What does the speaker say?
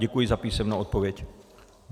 Děkuji za písemnou odpověď.